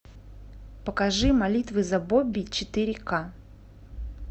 покажи молитвы за бобби четыре ка